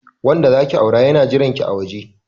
Wanda zaki aura yana jiranki a waje.